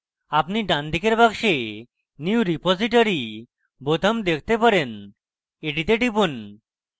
আপনি ডানদিকের box new repository বোতাম দেখতে পারেন; এটিতে টিপুন